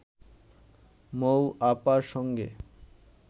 মৌ আপার সঙ্গে